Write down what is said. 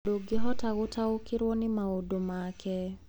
Ndũngĩhota gũtaũkĩrũo nĩ maũndũ make.